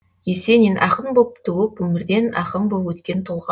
есенин ақын боп туып өмірден ақын боп өткен тұлға